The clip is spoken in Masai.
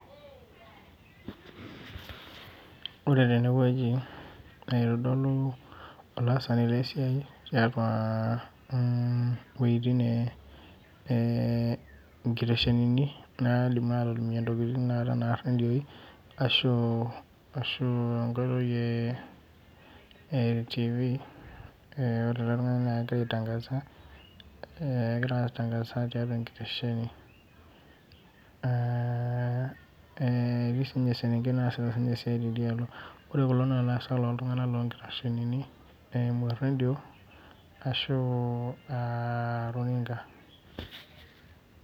Ore tenewueji, naitodolu olaasani lesiai eta iwueitin nkiteshenini naidimi atolimunye intokiting tanakata enaa irredioi, ashu enkoitoi e Tv, ore ele tung'ani na kegira ai tangaza ,egira ai tangaza tiatua enkitesheni. Etii sinye eselenkei naasita esiai tidialo. Ore kulo na laasak loltung'anak lonkiteshenini eimu rredio, ashu ah runinga.